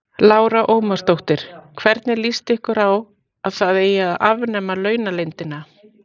Lára Ómarsdóttir: Hvernig lýst ykkur á að það eigi að afnema launaleyndina?